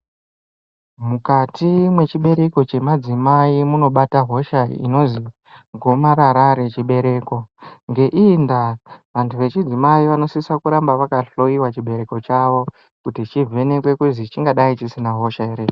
Mukati mwechibereko chemadzimai munobata hosha inonzi gomarara rechibereko ngeiyi ndaa vandu echidzimai vanosisa kuramba vakahloyiwa chibereko chavo kuti chivhenekwe kuzi chingadai chisina hosha here.